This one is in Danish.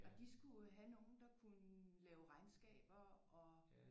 Og de skulle have nogen der kunne lave regnskaber og